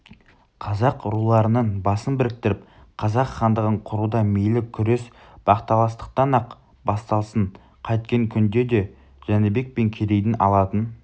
қазақ руларының басын біріктіріп қазақ хандығын құруда мейлі күрес бақталастықтан-ақ басталсын қайткен күнде де жәнібек пен керейдің алатын